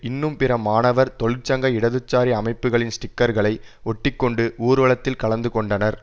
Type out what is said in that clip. இன்னும் பிற மாணவர் தொழிற்சங்க இடதுசாரி அமைப்புக்களின் ஸ்டிக்கர்களை ஒட்டி கொண்டு ஊர்வலத்தில் கலந்து கொண்டனர்